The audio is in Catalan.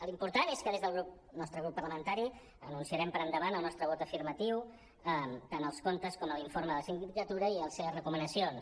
l’important és que des del nostre grup parlamentari anunciarem per endavant el nostre vot afirmatiu tant als comptes com a l’informe de la sindicatura i a les seves recomanacions